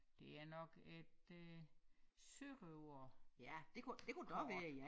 Det er nok et øh sørøverkort